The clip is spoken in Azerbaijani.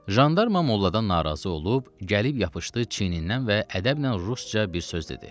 Jandarma molladan narazı olub gəlib yapışdı çiyindən və ədəblə rusca bir söz dedi.